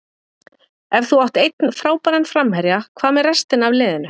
Ef þú átt einn frábæran framherja, hvað með restina af liðinu?